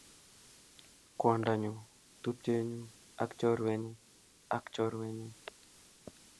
Kwondonyu, tupchenyuu ak chorwenyu ak chorwenyu